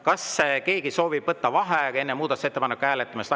Kas keegi soovib võtta vaheaega enne muudatusettepaneku hääletamist?